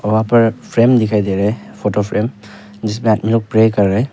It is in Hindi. वहां पर एक फ्रेम दिखाई दे रहा है फोटो फ्रेम जिसमें आदमी लोग प्रे कर रहे हैं।